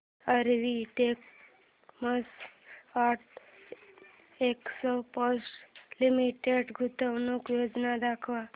RV denims and exports limited गुंतवणूक योजना दाखव